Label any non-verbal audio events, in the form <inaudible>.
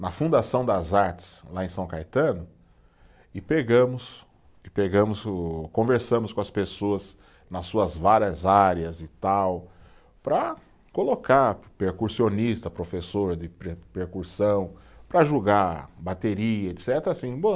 Na Fundação das Artes, lá em São Caetano, e pegamos, e pegamos o, conversamos com as pessoas nas suas várias áreas e tal, para colocar percussionista, professor de pre, percussão, para julgar bateria, etcetera assim <unintelligible>